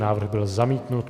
Návrh byl zamítnut.